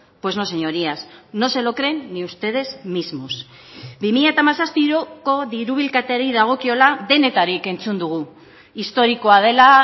pues no señorías no se lo creen ni ustedes mismos bi mila hamazazpiko diru bilketari dagokiola denetarik entzun dugu historikoa dela